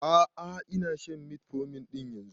A'a ina shan metformin ɗin yanzun